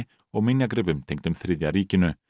og minjagripum tengdum þriðja ríkinu